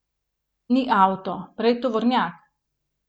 Ni avto, prej tovornjak.